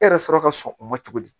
E yɛrɛ sɔrɔ ka sɔn o ma cogo di